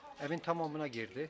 Evin tamamına girdi.